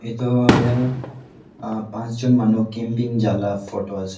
etu jatte pash jont manu camping jala photo ase.